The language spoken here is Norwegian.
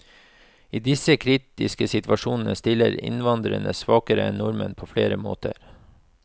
I disse kritiske situasjonene stiller innvandrerne svakere enn nordmenn på flere måter.